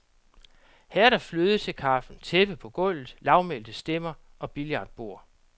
Her er der fløde til kaffen, tæppe på gulvet, lavmælte stemmer og billardbord.